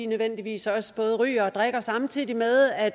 nødvendigvis også både ryger og drikker samtidig med at